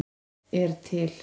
ert til!